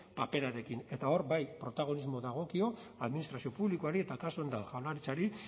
paperarekin eta hor bai protagonismo dagokio administrazio publikoari eta kasu honetan jaurlaritzari